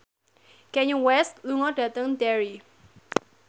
Kanye West lunga dhateng Derry